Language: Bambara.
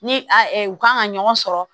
Ni a u kan ka ɲɔgɔn sɔrɔ